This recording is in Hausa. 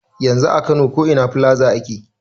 Yanzu a kano ko ina filaza ake.